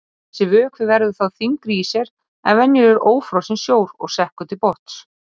Þessi vökvi verður þá þyngri í sér en venjulegur ófrosinn sjór og sekkur til botns.